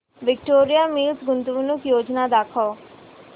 Victoria Mills गुंतवणूक योजना दाखव